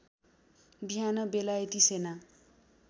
बिहान बेलायती सेना